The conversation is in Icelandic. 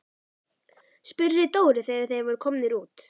spurði Dóri þegar þeir voru komnir út.